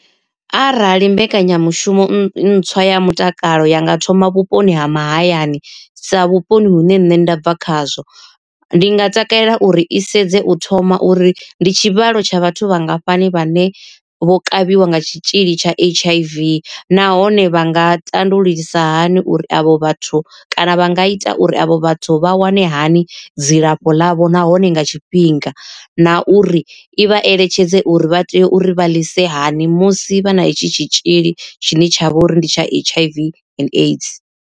Arali mbekanyamushumo ntswa ya mutakalo ya nga thoma vhuponi ha mahayani sa vhuponi hune nṋe nda bva khazwo. Ndi nga takalela uri i sedze u thoma uri ndi tshivhalo tsha vhathu vhangafhani vhane vho kavhiwa nga tshitzhili tsha H_I_V, nahone vha nga tandululisa hani uri avho vhathu kana vha nga ita uri avho vhathu vha wane hani dzilafho ḽavho nahone nga tshifhinga na uri i vha eletshedze uri vha tea uri vha ḽise hani musi vha na itshi tshitzhili tshine tshavha uri ndi tsha H_I_V and AIDS.